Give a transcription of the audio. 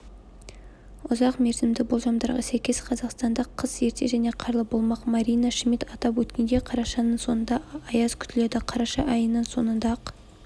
ұзақ мерзімді болжамдарға сәйкес қазақстанда қыс ерте және қарлы болмақ марина шмидт атап айтқандай қарашаның соңында аяз күтіледі қараша айының соңында-ақ